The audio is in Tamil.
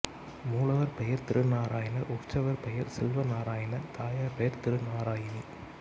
மூலவர் பெயர் திருநாராயணர் உற்சவர் பெயர் செல்வநாராயணர் தாயார் பெயர் திருநாராயணி